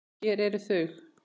Hér eru þau